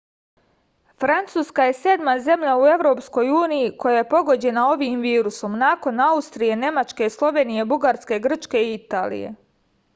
francuska je sedma zemlja u evropskoj uniji koja je pogođena ovim virusom nakon austrije nemačke slovenije bugarske grčke i italije